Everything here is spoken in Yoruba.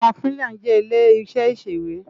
Màkímilán jè ilé iṣè iṣéwé